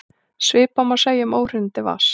Svipað má segja um óhreinindi vatns.